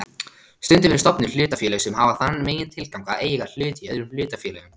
Stundum eru stofnuð hlutafélög sem hafa þann megintilgang að eiga hluti í öðrum hlutafélögum.